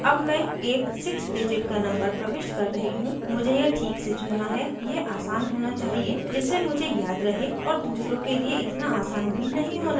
अब मैं एक 6 digit का number प्रविष्ट कर रही choose मुझे यह ठीक से चुनना है यह आसान होना चाहिए जिससे मुझे याद रहे और दूसरों के लिए इतना आसान भी नहीं होना चाहिए